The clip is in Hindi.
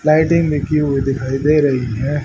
लाइटिंग लिखी हुई दिखाई दे रही है।